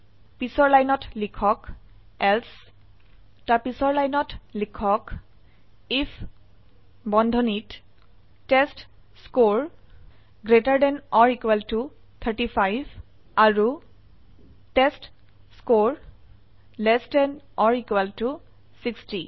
পিছৰ লাইনত লিখক এলছে পিছৰ লাইনত লিখক আইএফ বন্ধনীত টেষ্টস্কৰে 35 আৰু টেষ্টস্কৰে 60